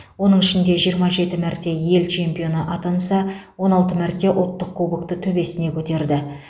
оның ішінде жиырма жеті мәрте ел чемпионы атанса он алты мәрте ұлттық кубокты төбесіне көтерді